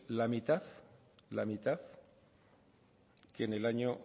la mitad que en el año